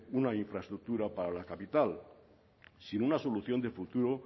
una infraestructura para la capital sino una solución de futuro